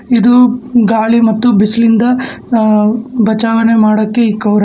ಇದು ಗಾಳಿ ಮತ್ತು ಬಿಸಲಿಂದ ಅ ಬಚಾವನೆ ಮಾಡೋಕೆ ಇಕ್ಕವರೆ.